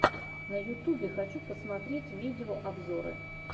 на ютубе хочу посмотреть видеообзоры